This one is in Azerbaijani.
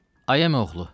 Ay əmioğlu.